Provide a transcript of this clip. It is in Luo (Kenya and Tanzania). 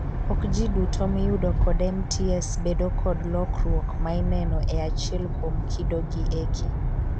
Okjiduto miyudo kod MTS bedo kod lokruok maineno e achiel kuom kido gi eki.